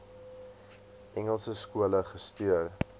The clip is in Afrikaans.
engelse skole gestuur